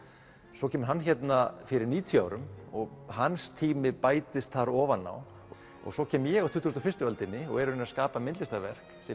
svo kemur hann hérna fyrir níutíu árum og hans tími bætist þar ofan á og svo kem ég á tuttugustu og fyrstu öldinni og er að skapa myndlistarverk sem